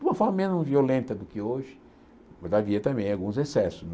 De uma forma menos violenta do que hoje, mas havia também alguns excessos né.